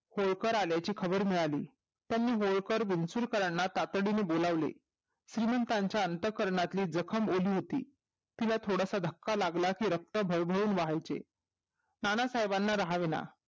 होळकर आल्याची खबर मिळाली त्यांनी होळकर बिनचूकरांना तातडीने बोलावले श्रीमंतीच्या अंतःकरणातील जखम ओली होती तिला थोडासा धक्का लागली कि रक्त तर तरुण वाहहीके नानासाहेबांना राहावे ना